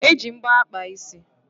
E ji mbọ akpa isi